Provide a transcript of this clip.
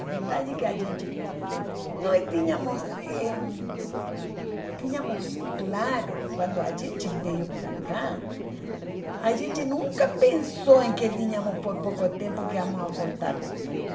A verdade é que a gente nós tínhamos eh tínhamos claro, quando a gente veio para cá, a gente nunca pensou em que vínhamos por pouco tempo, que íamos voltar depois.